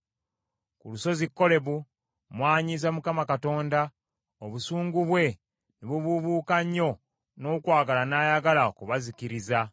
Ku lusozi Kolebu mwanyiiza Mukama Katonda, obusungu bwe ne bubuubuuka nnyo n’okwagala n’ayagala okubazikiriza.